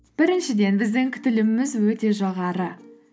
біріншіден біздің күтіліміміз өте жоғары